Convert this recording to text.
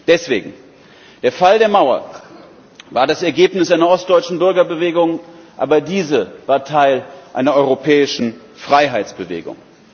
Deswegen Der Fall der Mauer war das Ergebnis einer ostdeutschen Bürgerbewegung, aber diese war Teil einer europäischen Freiheitsbewegung.